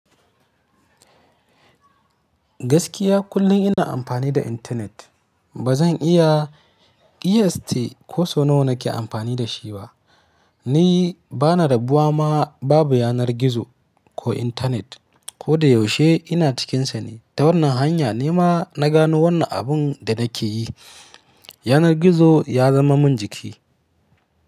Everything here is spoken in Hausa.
Gaskiya kullum ina amfani da intanet. Ba zan iya ƙiyaste ko sau nawa nake amfani da shi ba. Ni bana rabuwa ma babu yanar gizo ko intanet ko da yaushe ina cikinsa ne. Ta wannan hanya ne ma na gano wannan abun da nake yi. Yanar gizo ya zama min jiki.